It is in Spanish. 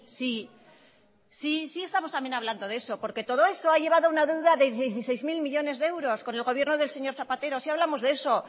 sí sí sí estamos también hablando de eso porque todo eso ha llevado a una deuda de dieciséis mil millónes de euros con el gobierno del señor zapatero sí hablamos de eso